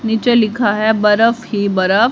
नीचे लिखा है बरफ ही बरफ--